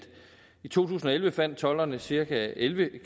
i to tusind og elleve fandt tolderne cirka elleve